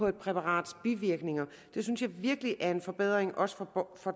et præparats bivirkninger det synes jeg virkelig er en forbedring også for